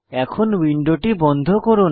এখন উইন্ডোটি বন্ধ করুন